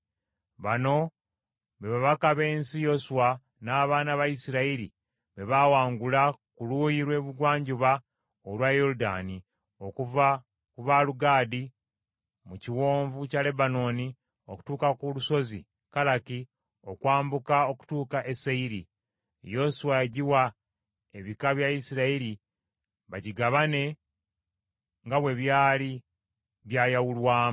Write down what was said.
Bano be bakabaka b’ensi, Yoswa n’abaana ba Isirayiri be baawangula ku luuyi lw’ebugwanjuba olwa Yoludaani okuva ku Baalugadi mu kiwonvu kya Lebanooni okutuuka ku lusozi Kalaki okwambuka okutuuka e Seyiri. Yoswa yagiwa ebika bya Isirayiri bigigabane nga bwe byali byayawulwamu.